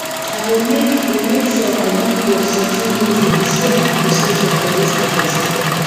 i go make go make sure i give god something meaningful to show my appreciation for dis harvest